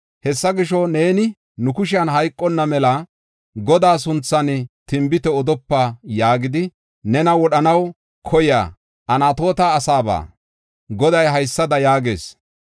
Hessa gisho, “Godaa sunthan tinbite odopa ixiko, ne nu kushen hayqanna” yaagidi, nena wodhanaw koyiya Anatoota asaaba Goday haysada yaagees.